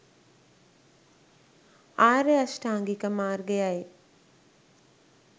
ආර්ය අෂ්ටාංගික මාර්ගයයි.